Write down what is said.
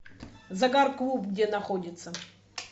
загар клуб где находится